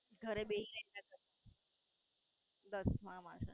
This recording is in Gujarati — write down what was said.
ઘરે બેહી ને કાઢેદસમાં માં છે.